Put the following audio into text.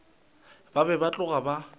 ba be ba tloga ba